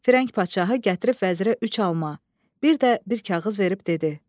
Firəng padşahı gətirib vəzirə üç alma, bir də bir kağız verib dedi: